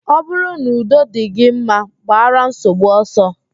Ọ bụrụ n'udo dị gị mma, gbara nsogbu ọsọ